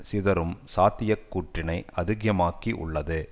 சிதறும் சாத்திய கூற்றினை அதிகமாக்கி உள்ளது